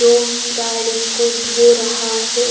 दो गाडी को धो रहा है।